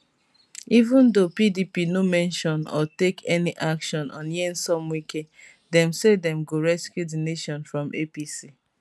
even though pdp no mention or take any action on nyesom wike dem say dem go rescue di nation from apc